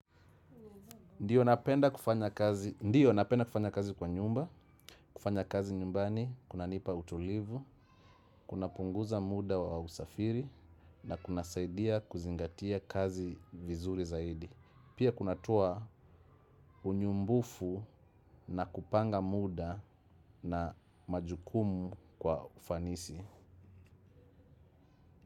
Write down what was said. Ndiyo napenda kufanya kazi kwa nyumba, kufanya kazi nyumbani, kunanipa utulivu, kunapunguza muda wa usafiri, na kunasaidia kuzingatia kazi vizuri zaidi. Pia kunatoa unyumbufu na kupanga muda na majukumu kwa ufanisi.